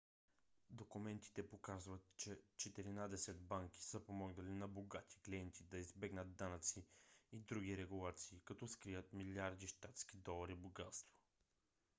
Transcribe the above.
документите показват че четиринадесет банки са помогнали на богати клиенти да избегнат данъци и други регулации като скрият милиарди щатски долари богатство